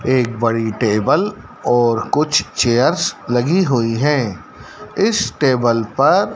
एक बड़ी टेबल और कुछ चेयर्स लगी हुई है इस टेबल पर--